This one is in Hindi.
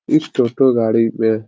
इस टोटो गाड़ी में --